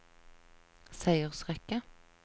seiersrekke